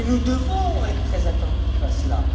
Nous devons être très attentifs à cela.